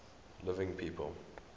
living people